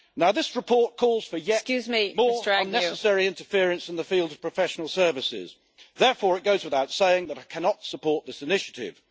This report calls for yet more unnecessary interference in the field of professional services. Therefore it goes without saying that I cannot support this initiative.